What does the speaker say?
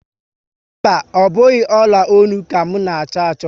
Mba, ọ bụghị ọla ọnụ m ka a na-achọ achọ